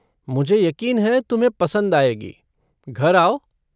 मुझे यक़ीन है तुम्हें पसंद आएगी, घर आओ।